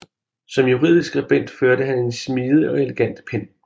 Som juridisk skribent førte han en smidig og elegant pen